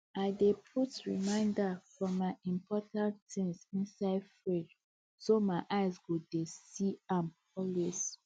i dey put reminders for my important things inside fridge so my eye go dey see am always